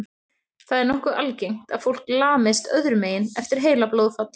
Það er nokkuð algengt að fólk lamist öðrum megin eftir heilablóðfall.